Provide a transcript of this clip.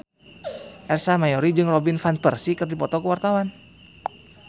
Ersa Mayori jeung Robin Van Persie keur dipoto ku wartawan